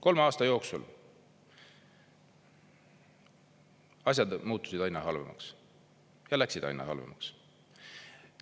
Kolme aasta jooksul asjad muutusid aina halvemaks ja läksid aina halvemaks.